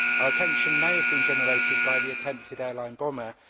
Our attention may have been generated by the attempted airline bomber.